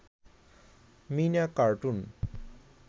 Meena cartoon